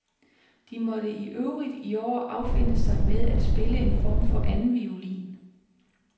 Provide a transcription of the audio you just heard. De måtte i øvrigt i år affinde sig med at spille en form for andenviolin.